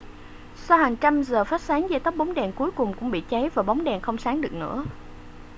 sau hàng trăm giờ phát sáng dây tóc bóng đèn cuối cùng cũng bị cháy và bóng đèn không sáng được nữa